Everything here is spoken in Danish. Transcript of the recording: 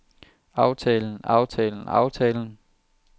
aftalen aftalen aftalen